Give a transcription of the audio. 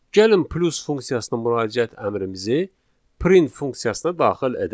Gəlin plus funksiyasına müraciət əmrimizi print funksiyasına daxil edək.